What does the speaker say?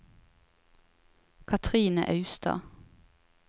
Kathrine Austad